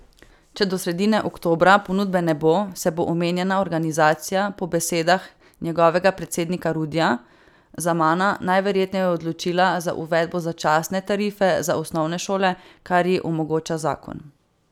Če do sredine oktobra ponudbe ne bo, se bo omenjena organizacija po besedah njegovega predsednika Rudija Zamana najverjetneje odločila za uvedbo začasne tarife za osnovne šole, kar ji omogoča zakon.